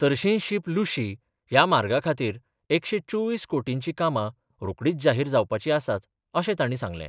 थर्शींशीप लूशी ह्या मार्गाखातीर एकशे चोवीस कोटींची कामा रोकडीच जाहीर जावपाची आसात अशें ताणी सांगले.